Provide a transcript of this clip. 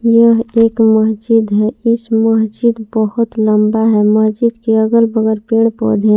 यह एक मस्जिद है इस मस्जिद बहोत लंबा है मस्जिद के अगल बगल पेड़ पौधे हैं।